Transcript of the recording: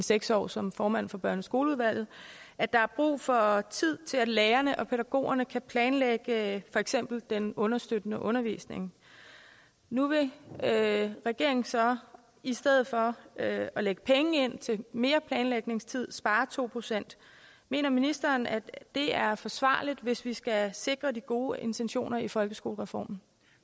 seks år som formand for børne og skoleudvalget er brug for tid til at lærerne og pædagogerne kan planlægge for eksempel den understøttende undervisning nu vil regeringen så i stedet for at lægge penge ind til mere planlægningstid spare to procent mener ministeren at det er forsvarligt hvis vi skal sikre de gode intentioner i folkeskolereformen